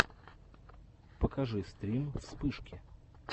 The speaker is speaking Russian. покажи стрим вспышки